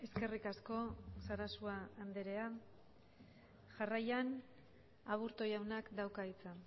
eskerrik asko sarasua anderea jarraian aburto jaunak dauka hitza